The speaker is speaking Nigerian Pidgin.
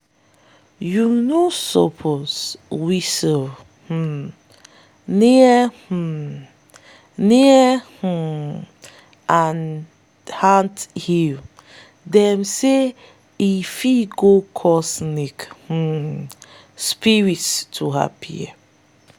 you no suppose whistle um near um near um anthills - them say e go call snake um spirits to appear.